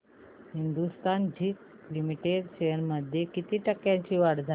Hindustan zinc limited shares मध्ये किती टक्क्यांची वाढ झाली